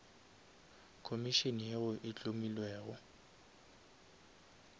komišene yeo e hlomilwego